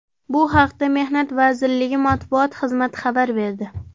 Bu haqda Mehnat vazirligi matbuot xizmati xabar berdi .